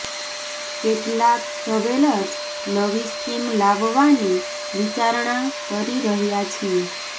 કેટલાક જ્વેલર્સ નવી સ્કીમ લાવવાની વિચારણા કરી રહ્યા છીએ